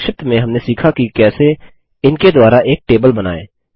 संक्षिप्त में हमने सीखा की कैसे इनके द्वारा एक टेबल बनाएँ